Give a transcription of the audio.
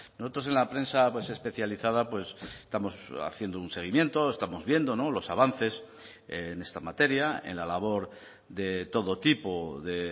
nosotros en la prensa especializada estamos haciendo un seguimiento estamos viendo los avances en esta materia en la labor de todo tipo de